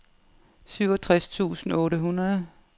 syvogtres tusind otte hundrede